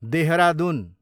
Dehradun